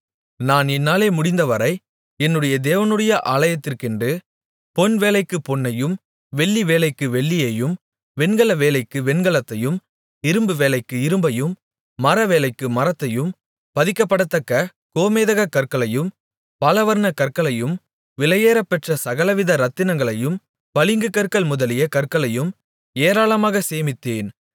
நான் என்னாலே முடிந்தவரை என்னுடைய தேவனுடைய ஆலயத்திற்கென்று பொன் வேலைக்குப் பொன்னையும் வெள்ளி வேலைக்கு வெள்ளியையும் வெண்கல வேலைக்கு வெண்கலத்தையும் இரும்பு வேலைக்கு இரும்பையும் மரவேலைக்கு மரத்தையும் பதிக்கப்படத்தக்க கோமேதகக் கற்களையும் பலவர்ணக் கற்களையும் விலையேறப்பெற்ற சகலவித ரத்தினங்களையும் பளிங்கு கற்கள் முதலிய கற்களையும் ஏராளமாகச் சேமித்தேன்